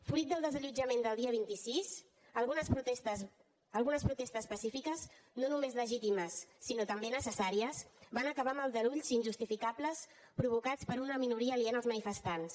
fruit del desallotjament del dia vint sis algunes protestes pacífiques no només legítimes sinó també necessàries van acabar amb aldarulls injustificables provocats per una minoria aliena als manifestants